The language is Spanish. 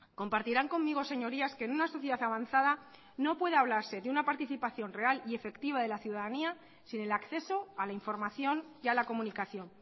compartirán conmigo señorías que en una sociedad avanzada no puede hablarse de una participación real y efectiva de la ciudadanía sin el acceso a la información y a la comunicación